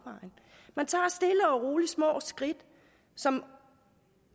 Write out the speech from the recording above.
roligt små skridt som